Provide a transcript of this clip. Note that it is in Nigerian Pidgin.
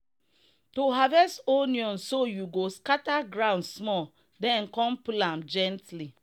to harvest onion so you go scatter ground small then come pull am gently.